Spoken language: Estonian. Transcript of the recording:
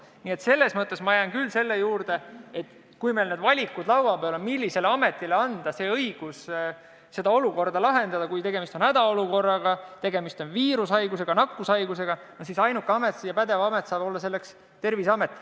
Nii et selles mõttes jään ma küll selle juurde, et kui meil on laua peal valikud, millisele ametile anda õigus seda olukorda lahendada – kui tegemist on hädaolukorraga ja tegemist on viirushaiguse või mõne muu nakkushaigusega –, siis ainuke pädev amet on Terviseamet.